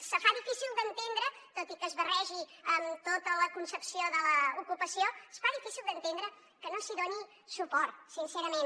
es fa difícil d’entendre tot i que es barregi amb tota la concepció de l’ocupació que no s’hi doni suport sincerament